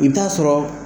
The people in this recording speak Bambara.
I bɛ taa sɔrɔ